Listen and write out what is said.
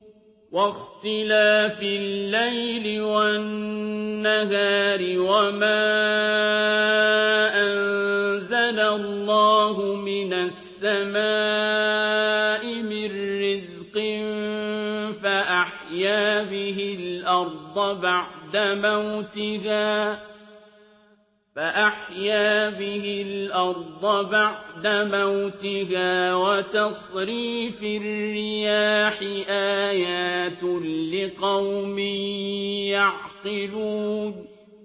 وَاخْتِلَافِ اللَّيْلِ وَالنَّهَارِ وَمَا أَنزَلَ اللَّهُ مِنَ السَّمَاءِ مِن رِّزْقٍ فَأَحْيَا بِهِ الْأَرْضَ بَعْدَ مَوْتِهَا وَتَصْرِيفِ الرِّيَاحِ آيَاتٌ لِّقَوْمٍ يَعْقِلُونَ